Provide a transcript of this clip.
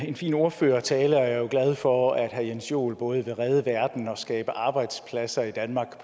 en fin ordførertale jeg er jo glad for at herre jens joel både vil redde verden og skabe arbejdspladser i danmark